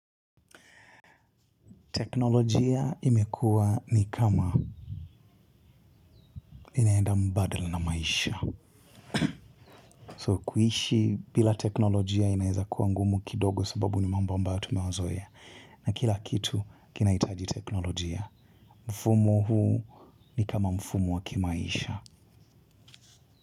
Teknolojia imekuwa ni kama inaenda mbadala na maisha. So kuishi bila teknolojia inaeza kuwa ngumu kidogo sababu ni mambo ambayo tumeyazoea. Na kila kitu kinahitaji teknolojia. Mfumo huu ni kama mfumo wa kimaisha.